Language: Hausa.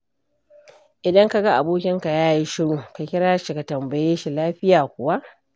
Idan ka ga abokinka ya yi shiru, ka kira shi ka tambaye shi lafiya kuwa.